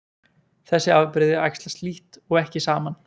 Þessi afbrigði æxlast lítt eða ekki saman.